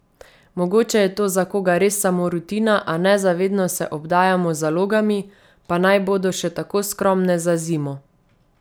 Mogoče je to za koga res samo rutina, a nezavedno se obdajamo z zalogami, pa naj bodo še tako skromne, za zimo.